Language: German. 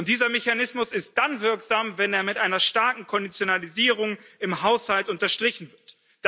Dieser Mechanismus ist dann wirksam, wenn er mit einer starken Konditionalisierung im Haushalt unterstrichen wird.